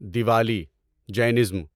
Diwali Jainism